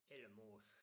Ellemose